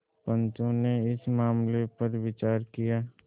पंचो ने इस मामले पर विचार किया